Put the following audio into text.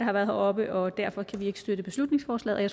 har været heroppe og derfor kan vi ikke støtte beslutningsforslaget og